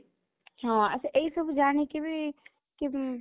ହଁ, ଆଛା ଏଇ ସବୁ ଜାଣିକି ବି